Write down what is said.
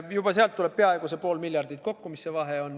Juba sealt tuleb peaaegu pool miljardit kokku – see, mis see vahe on.